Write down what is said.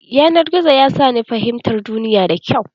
Yanar gizo ya sa ni fahimtar duniya da kyau.